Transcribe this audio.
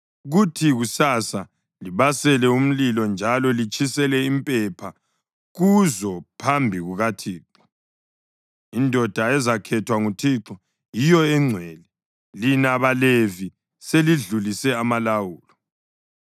kuthi kusasa libasele umlilo njalo litshisele impepha kuzo phambi kukaThixo. Indoda ezakhethwa nguThixo yiyo engcwele. Lina baLevi seledlulise amalawulo!”